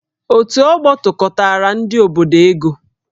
Otù ọgbọ tụkọtaara ndị obodo ego